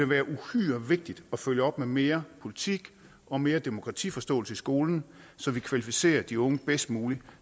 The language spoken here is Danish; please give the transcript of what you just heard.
være uhyre vigtigt at følge op med mere politik og mere demokratiforståelse i skolen så vi kvalificerer de unge bedst muligt